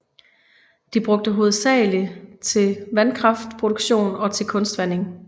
De bruges hovedsageligt til vandkraftproduktion og til kunstvanding